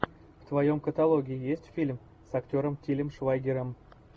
в твоем каталоге есть фильм с актером тилем швайгером